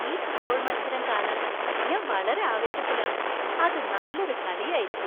ഈ ഫുട്ബോൾ മത്സരം കാണാൻ ഞാൻ വളരെ ആവേശത്തിലാണ്! അത് നല്ലൊരു കളിയായിരിക്കും.